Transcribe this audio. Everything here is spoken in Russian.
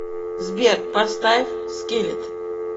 сбер поставь скиллет